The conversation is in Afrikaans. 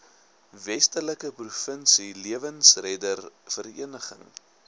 westelike provinsie lewensreddersvereniging